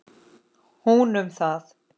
Hún um það.